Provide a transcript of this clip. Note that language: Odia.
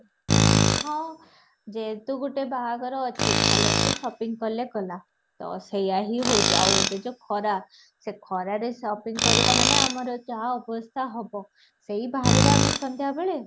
ହଁ ଯେହେତୁ ଗୋଟେ ବାହାଘର ଅଛି ଭଲ ସେ shopping କଲେ ଗଲା ତ ସେଇଆ ହଉଛି ଆଉ ଏବେ ଯୋଉ ଖରା ସେ ଖରାରେ sopping କରିବା ମାନେ ଆମର ଯାହା ଅବସ୍ତା ହବ ସେଈ ବାହାରିବା ସନ୍ଧ୍ୟା ବେଳେ